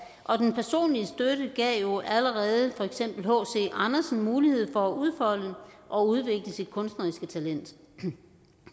og den personlige støtte gav jo allerede for eksempel hc andersen mulighed for at udfolde og udvikle sit kunstneriske talent